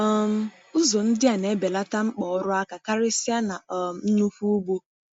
um Ụzọ ndị a na-ebelata mkpa ọrụ aka, karịsịa na um nnukwu ugbo.